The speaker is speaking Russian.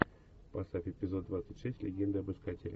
поставь эпизод двадцать шесть легенды об искателе